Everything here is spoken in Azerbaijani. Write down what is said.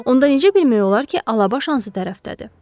Onda necə bilmək olar ki, alabaş hansı tərəfdədir?